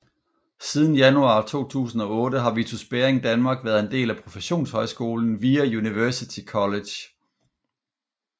Siden januar 2008 har Vitus Bering Danmark været en del af professionshøjskolen VIA University College